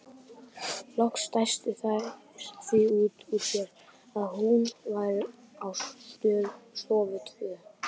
Loks dæstu þær því út úr sér að hún væru á stofu tvö.